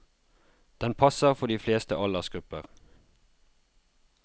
Den passer for de fleste aldersgrupper.